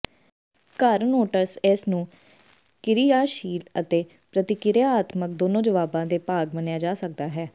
ਘਰ ਨੋਟਸ ਇਸ ਨੂੰ ਕਿਰਿਆਸ਼ੀਲ ਅਤੇ ਪ੍ਰਤਿਕਿਰਿਆਤਮਕ ਦੋਨੋ ਜਵਾਬਾਂ ਦੇ ਭਾਗ ਮੰਨਿਆ ਜਾ ਸਕਦਾ ਹੈ